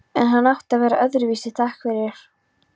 En hann átti að vera öðruvísi, takk fyrir.